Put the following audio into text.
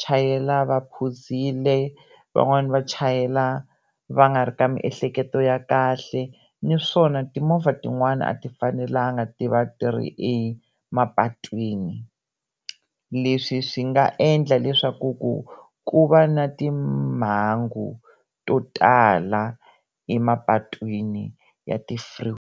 chayela va phuzile van'wani va chayela va nga ri ka miehleketo ya kahle naswona timovha tin'wana a ti fanelanga ti va ti ri emapatwini leswi swi nga endla leswaku ku ku va na timhangu to tala emapatwini ya ti-freeway.